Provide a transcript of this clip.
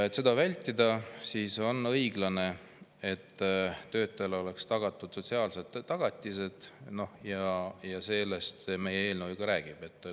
Et seda vältida, on õiglane, et töötajale oleks tagatud sotsiaalsed tagatised, ja sellest meie eelnõu räägibki.